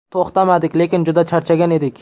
To‘xtamadik, lekin juda charchagan edik.